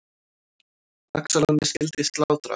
Laxalóni skyldi slátrað.